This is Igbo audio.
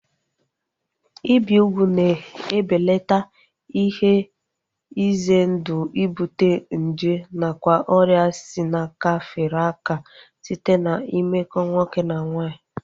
Ibi ugwu na-ebelata ihe ize ndụ ibute nje nakwa ọrịa si n'aka fere aka site na mmekọ nwoke na nwaanyị